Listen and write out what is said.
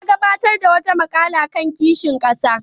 Ya gabatar da wata maƙala kan kishin ƙasa.